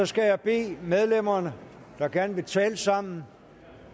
skal bede medlemmer der gerne vil tale sammen